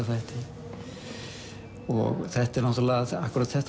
þætti þetta er náttúrulega akkúrat